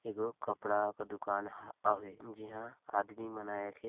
एगो कपड़ा क दुकान अ अवे जी हा आदमी मन आएक हे।